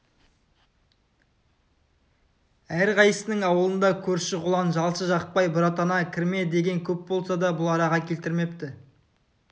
әрқайсысының аулында көрші-қолаң жалшы-жақпай бұратана кірме деген көп болса да бұл араға келтірмепті